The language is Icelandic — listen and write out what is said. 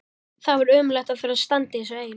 Það var ömurlegt að þurfa að standa í þessu ein.